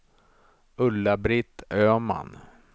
Ulla-Britt Öman